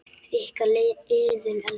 Ykkar, Iðunn Elfa.